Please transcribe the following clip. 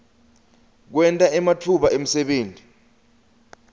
kwenta ematfuba emsebenti